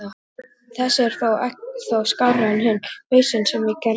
Þessi er þó skárri en hinn hausinn sem ég gerði.